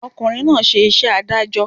Ọ̀kùnrin náà ṣe iṣẹ́ adájọ́